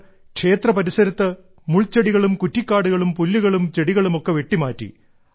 അവർ ക്ഷേത്ര പരിസരത്ത് മുൾച്ചെടികളും കുറ്റിക്കാടുകളും പുല്ലുകളും ചെടികളും ഒക്കെ വെട്ടിമാറ്റി